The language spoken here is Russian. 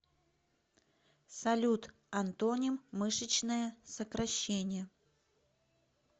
салют антоним мышечное сокращение